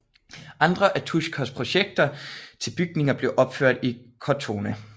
Andre af Tuschers projekter til bygninger blev opført i Cortona